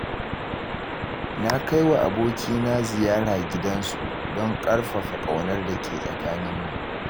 Na kaiwa abokina ziyara gidansu, don ƙarfafa ƙaunar dake tsakanimu.